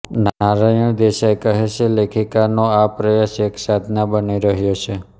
નારાયણ દેસાઈ કહે છે લેખિકાનો આ પ્રયાસ એક સાધના બની રહ્યો છે